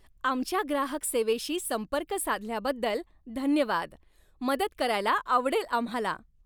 आमच्या ग्राहक सेवेशी संपर्क साधल्याबद्दल धन्यवाद. मदत करायला आवडेल आम्हाला.